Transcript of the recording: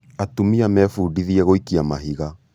atumia mebũdithie gũikia mahiga